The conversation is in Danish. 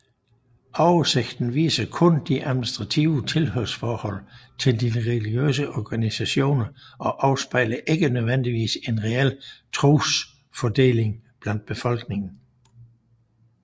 Oversigten viser kun de administrative tilhørsforhold til de religiøse organisationer og afspejler ikke nødvendigvis en reel trosfordeling blandt befolkningen